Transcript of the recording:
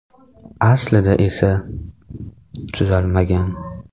Aslida esa, tuzalmagan.